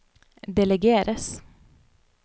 delegeres